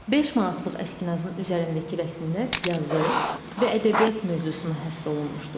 Beş manatlıq əskinasın üzərindəki rəsmlər yazı və ədəbiyyat mövzusuna həsr olunmuşdur.